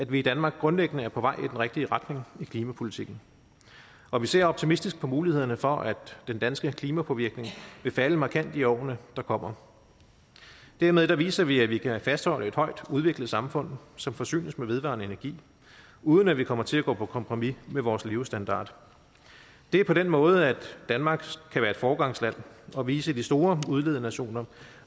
vi i danmark grundlæggende på vej i den rigtige retning i klimapolitikken og vi ser optimistisk på mulighederne for at den danske klimapåvirkning vil falde markant i årene der kommer dermed viser vi at vi kan fastholde et højt udviklet samfund som forsynes med vedvarende energi uden at vi kommer til at gå på kompromis med vores levestandard det er på den måde danmark kan være et foregangsland og vise de store udledernationer